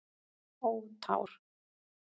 Ó tár.